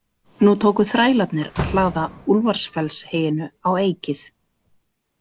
Nú tóku þrælarnir að hlaða Úlfarsfellsheyinu á eykið.